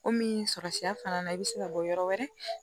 Komi sɔrɔ sira fana na i bɛ se ka bɔ yɔrɔ wɛrɛ